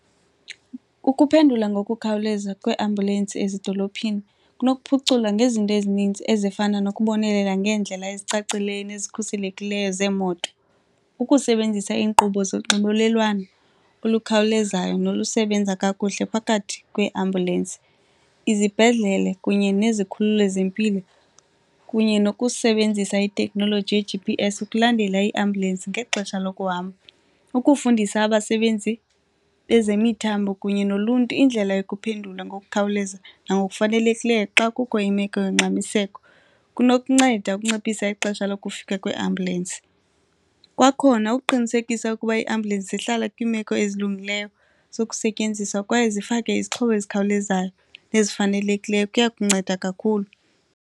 Kukuphendula ngokukhawuleza kweeambulensi ezidolophini kunokuphuculwa ngezinto ezininzi ezifana nokubonelela ngeendlela ezicacileyo nezikhuselekileyo zeemoto. Ukusebenzisa iinkqubo zonxibelelwano olukhawulezayo nolusebenza kakuhle phakathi kweeambyulensi, izibhedlele kunye nezikhululo ezempilo kunye nokusebenzisa itekhnoloji ye-G_P_S ukulandela iiambulensi ngexesha lokuhamba. Ukufundisa abasebenzi bezemithambo kunye noluntu indlela yokumphendula ngokukhawuleza nangokufanelekileyo xa kukho imeko yongxamiseko kunokunceda ukunciphisa ixesha lokufika kweeambulensi. Kwakhona ukuqinisekisa ukuba iiambulensi zihlala kwimeko ezilungileyo zokusetyenziswa kwaye zifake izixhobo ezikhawulezayo nezifanelekileyo kuya kunceda kakhulu.